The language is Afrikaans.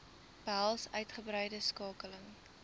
behels uitgebreide skakeling